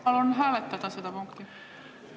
Palun hääletada seda punkti!